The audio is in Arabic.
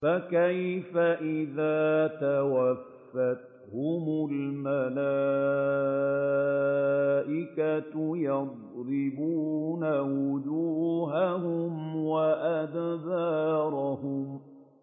فَكَيْفَ إِذَا تَوَفَّتْهُمُ الْمَلَائِكَةُ يَضْرِبُونَ وُجُوهَهُمْ وَأَدْبَارَهُمْ